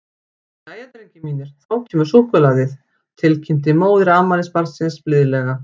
Jæja, drengir mínir, þá kemur súkkulaðið, til kynnti móðir afmælisbarnsins blíðlega.